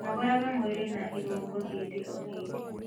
Nogoraga mwĩrĩ na irũngo hĩndĩ o hĩndĩ